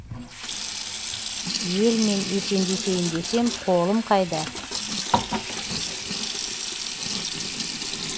елмен есендесейін десем қолым қайда